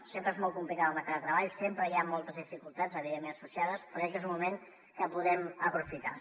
sempre és molt complicat el mercat de treball sempre hi ha moltes dificultats evidentment associades però crec que és un moment que podem aprofitar